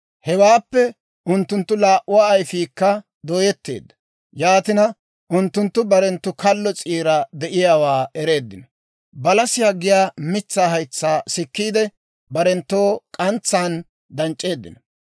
Hewaappe unttunttu laa"uwaa ayfiikka dooyetteedda; yaatina unttunttu barenttoo kallo s'iira de'iyaawaa ereeddino; balasiyaa giyaa mitsaa haytsaa sikkiide, barenttoo k'antsaan danc'c'eeddino.